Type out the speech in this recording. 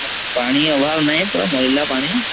ପାଣି ଅଭାବ୍ ନାହିଁ ପୁରା ମଈଲା ପାଣି